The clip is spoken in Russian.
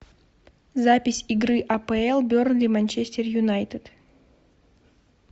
запись игры апл бернли манчестер юнайтед